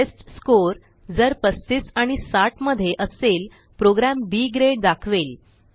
test score जर 35 आणि 60 मध्ये असेल प्रोग्रॅम बी ग्रेड दाखवेल